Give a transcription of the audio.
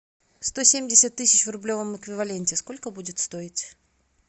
сто семьдесят тысяч в рублевом эквиваленте сколько будет стоить